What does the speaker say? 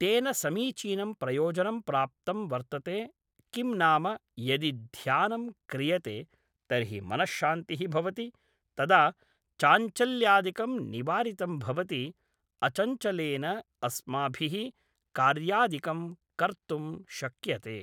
तेन समीचीनं प्रयोजनं प्राप्तं वर्तते किं नाम यदि ध्यानं क्रियते तर्हि मनःशान्तिः भवति तदा चाञ्चल्यादिकं निवारितं भवति अचञ्चलेन अस्माभिः कार्यादिकं कर्तुं शक्यते